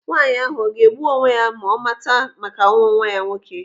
Nwaanyi ahụ ọga egbu onwe ya ma ọ mata maka ọnwụ nwa ya nwoke?